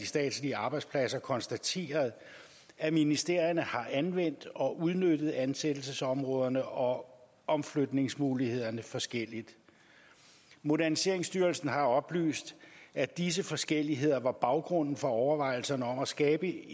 statslige arbejdspladser konstateret at ministerierne har anvendt og udnyttet ansættelsesområderne og omflytningsmulighederne forskelligt moderniseringsstyrelsen har oplyst at disse forskelligheder var baggrunden for overvejelserne om at skabe